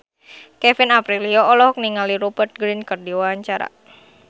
Kevin Aprilio olohok ningali Rupert Grin keur diwawancara